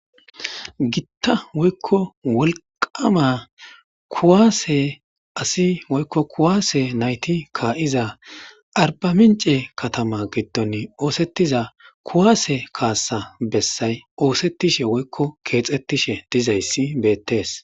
Giththa woyikko wolqqama kuwasse asi woyikko kuwasse nayththi aribaminche kaththama giddon oseththiza kuwasse kassa besay oseththishen woyikko kexeththishen dizaysi bettes.